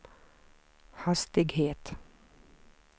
hastighet